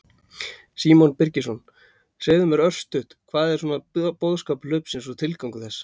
Símon Birgisson: Segðu mér örstutt, hvað er svona boðskapur hlaupsins og tilgangur þess?